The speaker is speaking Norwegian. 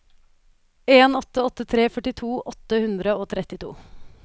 en åtte åtte tre førtito åtte hundre og trettito